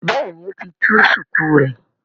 béèni o tí tú shuku rẹ.